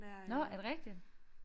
Nåh er det rigtigt?